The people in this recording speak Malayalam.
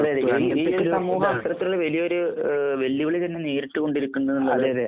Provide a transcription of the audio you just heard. അതെ. അതെ. ഈ ഒരു സംഭവം അത്തരത്തിൽ വലിയ ഒരു വെല്ലുവിളി തന്നെ നേരിട്ട് കൊണ്ടിരിക്കുന്ന